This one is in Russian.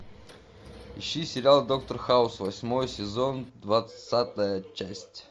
ищи сериал доктор хаус восьмой сезон двадцатая часть